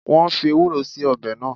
Wọn fii Ewúró síí ọbẹ̀ náà